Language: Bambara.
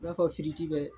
I b'a fɔ bɛ